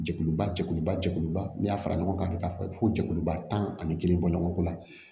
Jɛkuluba jɛkuluba jɛkuluba n'i y'a fara ɲɔgɔn kan ka taa fɔ jɛkuluba tan ani kelen bɔ ɲɔgɔn ko la